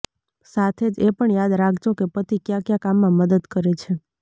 સાથે જ એ પણ યાદ રાખજો કે પતિ કયા કયા કામમાં મદદ કરે છે